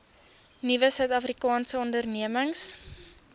nuwe suidafrikaanse ondernemings